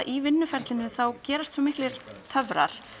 í vinnuferlinu gerast svo miklir töfrar